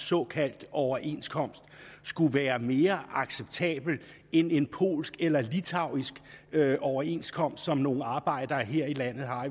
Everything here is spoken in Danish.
såkaldt overenskomst skulle være mere acceptabel end en polsk eller litauisk overenskomst som nogle arbejdere her i landet har